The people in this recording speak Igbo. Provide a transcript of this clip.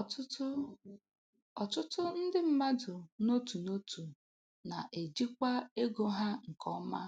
Ọtụtụ Ọtụtụ ndị mmadụ n'otu n'otu na-ejikwa ego ha nke ọma